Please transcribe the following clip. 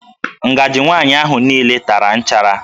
Ngaji nwaanyị ahụ niile tara nchara